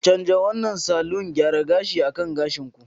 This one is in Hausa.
Canja wannan salon gyara gashi akan gashin ku!